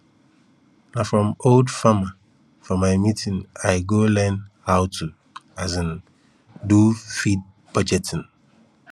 na from older farmerfor my meeting i go learn how to um do feed budgeting